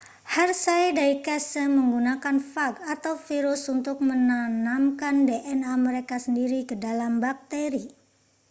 hershey dan chase menggunakan fag atau virus untuk menanamkan dna mereka sendiri ke dalam bakteri